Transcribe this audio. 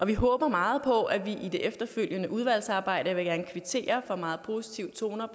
vi håber meget på at vi i det efterfølgende udvalgsarbejde jeg vil gerne kvittere for meget positive toner